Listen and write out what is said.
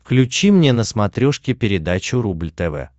включи мне на смотрешке передачу рубль тв